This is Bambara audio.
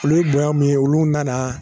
Olu ye bonya min ye olu nana